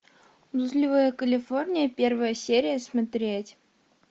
блудливая калифорния первая серия смотреть